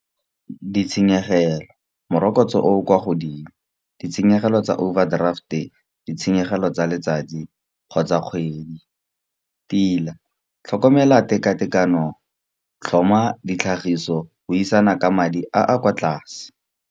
Ditshenyegelo morokotso o o kwa godimo, ditshenyegelo tsa overdraft-e, ditshenyegelo tsa letsatsi kgotsa kgwedi. Tila, tlhokomela teka-tekano, tlhoma ditlhagiso, buisana ka madi a a kwa tlase.